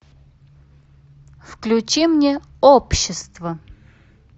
включи мне общество